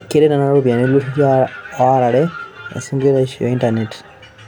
Keret nena ropiyiani iltururi ooarare esunkureisho e intanet